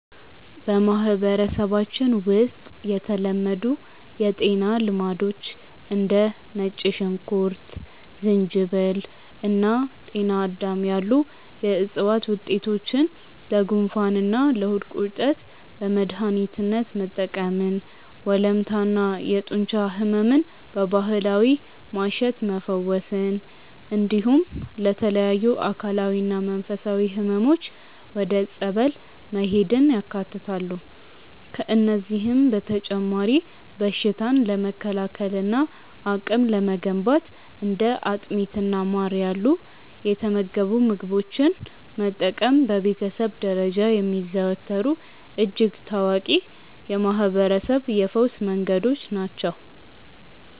በማህበረሰባችን ውስጥ የተለመዱ የጤና ልማዶች እንደ ነጭ ሽንኩርት፣ ዝንጅብል እና ጤናዳም ያሉ የዕፅዋት ውጤቶችን ለጉንፋንና ለሆድ ቁርጠት በመድኃኒትነት መጠቀምን፣ ወለምታና የጡንቻ ሕመምን በባህላዊ ማሸት መፈወስን፣ እንዲሁም ለተለያዩ አካላዊና መንፈሳዊ ሕመሞች ወደ ጸበል መሄድን ያካትታሉ። ከእነዚህም በተጨማሪ በሽታን ለመከላከልና አቅም ለመገንባት እንደ አጥሚትና ማር ያሉ የተመገቡ ምግቦችን መጠቀም በቤተሰብ ደረጃ የሚዘወተሩ እጅግ ታዋቂ የማህርበረሰብ የፈውስ መንገዶች ናቸው።